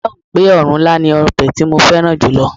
Ó dáhùn pé ọ̀run ilá ni ọbẹ̀ tí mo fẹ́ràn julo